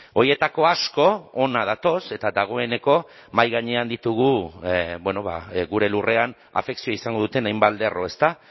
horietako asko hona datoz eta dagoeneko mahai gainean ditugu gure lurrean afekzioa izango duten hainbat lerro ezta